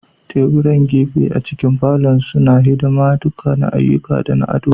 Teburan gefe a cikin falon suna hidima duka na ayyuka da na ado.